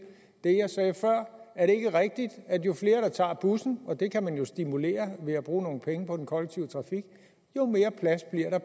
rigtigt at jo flere der tager bussen og det kan man jo stimulere ved at bruge nogle penge på den kollektive trafik jo mere plads bliver der